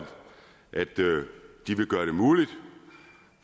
de vil gøre det muligt